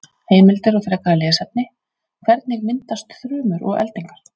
Heimildir og frekara lesefni: Hvernig myndast þrumur og eldingar?